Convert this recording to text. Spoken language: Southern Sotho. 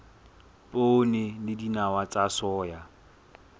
poone le dinawa tsa soya